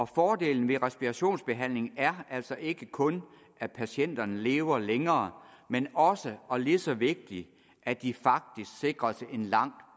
fordelen ved respirationsbehandling er altså ikke kun at patienterne lever længere men også og lige så vigtigt at de faktisk sikres en langt